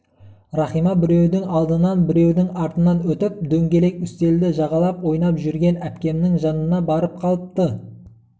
рахима біреудің алдынан біреудің артынан өтіп дөңгелек үстелді жағалап ойнап жүрген әпкемнің жанына барып қалыпты